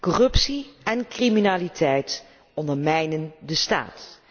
Corruptie en criminaliteit ondermijnen de staat.